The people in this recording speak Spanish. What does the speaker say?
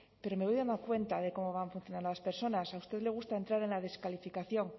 pero me voy dando cuenta de cómo van funcionando las personas a usted le gusta entrar en la descalificación